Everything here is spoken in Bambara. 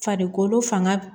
Farikolo fanga